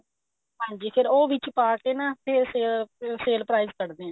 ਹਾਂਜੀ ਫੇਰ ਉਹ ਵਿੱਚ ਪਾ ਕੇ ਨਾ ਫੇਰ ਫੇਰ sale prize ਕੱਡਦੇ ਆ